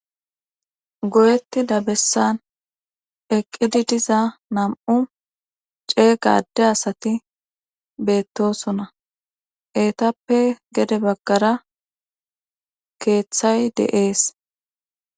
Go7etti dabessan eqqidi diza nam7u cee qade asati beettosona eetappe gede baggara keeththay deees.